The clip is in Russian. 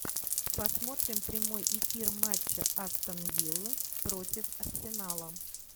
посмотрим прямой эфир матча астон виллы против арсенала